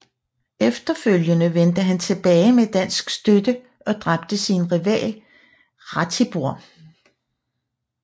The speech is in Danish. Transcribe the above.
Efterfølgende vendte han tilbage med dansk støtte og dræbte sin rival Ratibor